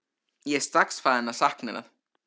Ég er strax farinn að sakna hennar.